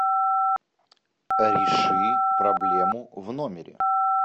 реши проблему в номере